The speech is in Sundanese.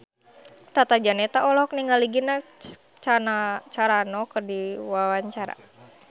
Tata Janeta olohok ningali Gina Carano keur diwawancara